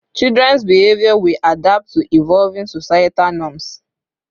Children's behavior will adapt to evolving societal norms